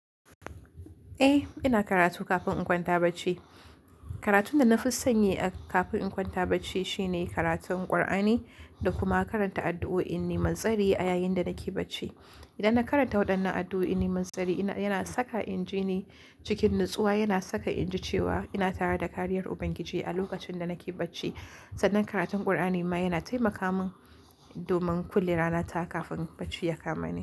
Eh, ina karatu kafin in kwanta bacci. Karatu da na fi sanyi a kafin in kwanta bacci shine karatun Kur'ani da kuma karanta addu'o'inni manzari a yayin da nake bacci. Idan na karanta waɗannan addu'o'in nemantsari, yana saka inji ni cikin natsuwa, yana saka inji cewa ina tare da kariyar Ubangiji a lokacin da nake bacci. Sannan karatun Kur'ani ma yana taimaka min domin kullum rana ta kafin bacci ya kama ni.